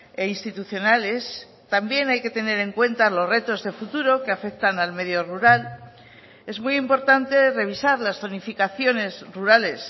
e institucionales también hay que tener en cuenta los retos de futuro que afectan al medio rural es muy importante revisar las zonificaciones rurales